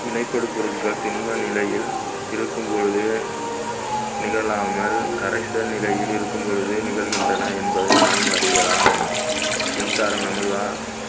வினைப்படும் பொருள்கள் திண்ம நிலையில் இருக்கும் பொழுது நிகழாமல் கரைச்சல் நிலையில் இருக்கும் பொழுது நிகழ்கின்றன என்பதை நாம் அறியலாம் மின்சாரம் நமது வா~